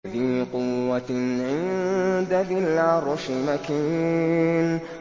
ذِي قُوَّةٍ عِندَ ذِي الْعَرْشِ مَكِينٍ